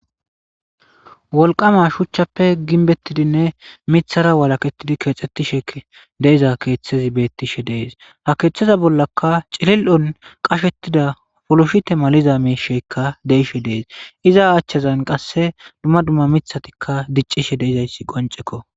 wolqama shuchchappe ginbettidinne mithara walaketidi keexxettishe deiza keeththezi beettishe dees ha keeththeza bollaka cilil7on qashettida foloshite maliza meisheykka deishe dees iza achchazan qasse dumma dumma mithatikka diccishe deizayssi qonceko